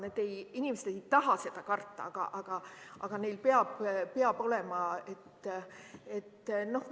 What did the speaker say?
Need inimesed ei taha karta, neil peab olema.